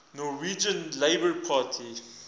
norwegian labour party